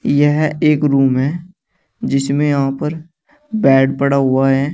यह एक रूम है जिसमें यहां पर बेड पड़ा हुआ है।